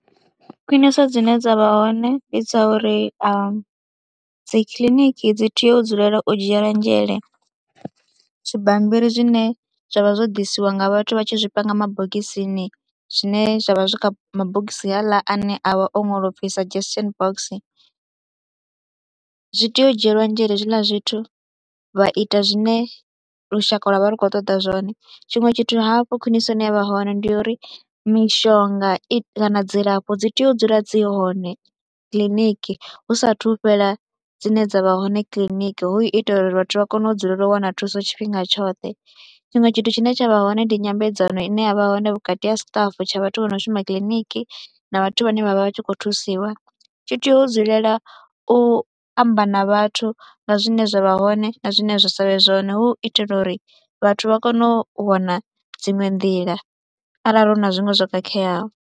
Khwiniso dzine dza vha hone ndi dza uri dzi kiliniki dzi tea u dzulela u dzhiela nzhele zwibammbiri zwine zwa vha zwo ḓisiwa nga vhathu vha tshi zwi panga mabogisi tsini zwine zwa vha zwi kha mabogisi haaḽa ane a vha o ṅwalwa u pfhi suggestion box. Zwi tea u dzhielwa nzhele hezwiḽa zwithu, vha ita zwine lushaka lwa vha lu khou ṱoḓa zwone. Tshiṅwe tshithu hafhu khwiniso ine ya vha hone ndi ya uri mishonga i kana dzilafho dzi tea u dzula dzi hone kiḽiniki hu saathu fhela dzine dza vha hone kiḽiniki hu ita uri vhathu vha kone u dzulela u wana thuso tshifhinga tshoṱhe. Tshiṅwe tshithu tshine tsha vha hone ndi nyambedzano ine ya vha hone vhukati ha staff tsha vhathu vho no shuma kiḽiniki na vhathu vhane vha vha vha tshi khou thusiwa, tshi tea u dzulela u amba na vhathu nga zwine zwa vha hone na zwine zwa sa vhe zwone hu itela uri vhathu vha kone u wana dziṅwe nḓila arali hu na zwiṅwe zwo khakheaho.